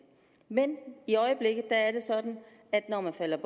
men i øjeblikket er det sådan at når man falder